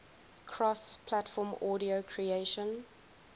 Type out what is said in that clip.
cross platform audio creation